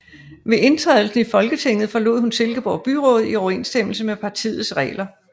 Ved indtrædelsen i Folketinget forlod hun Silkeborg Byråd i overensstemmelse med partiets regler